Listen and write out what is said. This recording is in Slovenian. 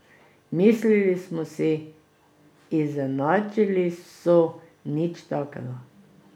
Mislili smo si, izenačili so, nič takega.